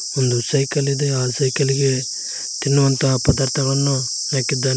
ಒಂದು ಸೈಕಲ್ ಇದೆ ಆ ಸೈಕಲ್ಲಿಗೆ ತಿನ್ನುವಂತ ಪದಾರ್ಥಗಳನ್ನು ಹಾಕಿದ್ದಾನೆ.